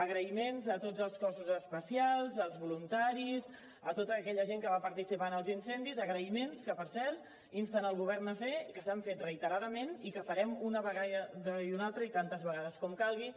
agraïments a tots els cossos especials als voluntaris a tota aquella gent que va participar en els incendis agraïments que per cert insten el govern a fer i que s’han fet reiteradament i que farem una vegada i una altra i tantes vegades com calgui